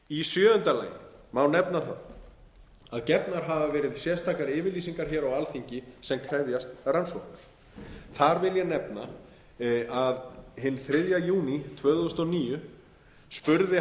sjöunda lagi má nefna það að gefnar hafa verið sérstakar yfirlýsingar hér á alþingi sem krefjast rannsóknar þar vil ég nefna að hinn þriðja júní tvö þúsund og níu spurði